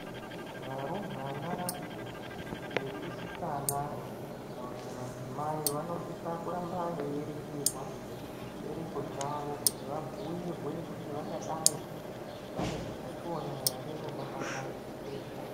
Varumbwana, vechisikana kana kuti madzimai, vanosisa kuramba veiringirwa chibereko chavo, kuti vangadai vane utachiona ere hunobatwa chibereko.